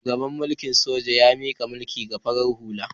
Shugaban mulikn sojan ya mika mulki ga farar hula.